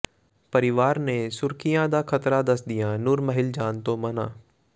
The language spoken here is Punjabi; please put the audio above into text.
ਪਰਿਵਾਰ ਨੇ ਸੁਰੱਖਿਆ ਦਾ ਖਤਰਾ ਦੱਸਦਿਆਂ ਨੂਰਮਹਿਲ ਜਾਣ ਤੋਂ ਮਨ੍ਹਾ